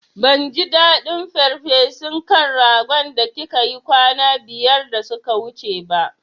Ban ji daɗin farfesun kan ragon da kika yi kwana biyar da suka wuce ba